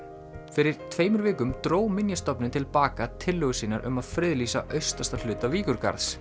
fyrir tveimur vikum dró Minjastofnun til baka tillögur sínar um að friðlýsa austasta hluta